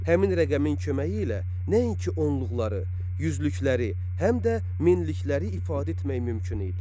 Həmin rəqəmin köməyi ilə nəinki onluqları, yüzlükləri, həm də minlikləri ifadə etmək mümkün idi.